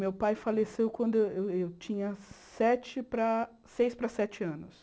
Meu pai faleceu quando eu eu tinha sete para seis para sete anos.